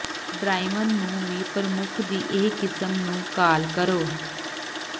Darwin ਨੂੰ ਵੀ ਪ੍ਰਮੁੱਖ ਦੀ ਇਹ ਕਿਸਮ ਨੂੰ ਕਾਲ ਕਰੋ